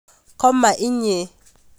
Koma inye